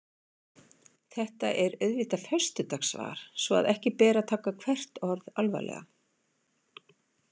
Þetta er auðvitað föstudagssvar svo að ekki ber að taka hvert orð alvarlega.